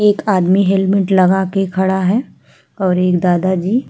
एक आदमी हेलमेट लगाके खड़ा है और एक दादाजी --